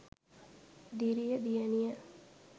diriya diyaniya